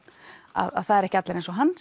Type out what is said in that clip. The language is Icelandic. að það eru ekki allir eins og hann